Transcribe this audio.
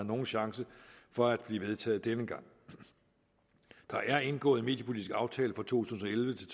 nogen chance for at blive vedtaget denne gang der er indgået en mediepolitisk aftale for to tusind og elleve til